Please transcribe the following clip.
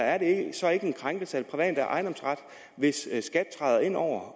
er det så ikke en krænkelse af den private ejendomsret hvis skat træder ind over